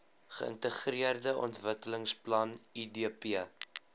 geintegreerde ontwikkelingsplan idp